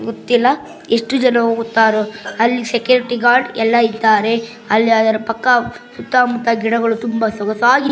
ಗೊತ್ತಿಲ್ಲ ಎಷ್ಟು ಜನ ಹೋಗುತ್ತಾರೋ ಅಲ್ಲಿ ಸೆಕ್ಯೂರಿಟಿ ಗಾರ್ಡ್ ಎಲ್ಲ ಇದ್ದಾರೆ ಅಲ್ಲಿ ಅದರ ಪಕ್ಕ ಸುತ್ತಮುತ್ತ ಗಿಡಗಳು ತುಂಬಾ ಸೊಗಸಾಗಿ.